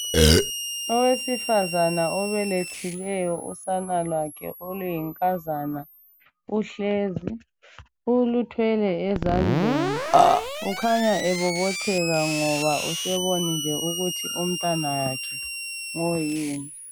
Owesifazane obelethileyo usana lwakhe oluyinkazana. Uhlezi, uluthwele ezandleni. Ukhanya ebobotheka ngoba usebonile ukuthi umntanakhe ngoyini.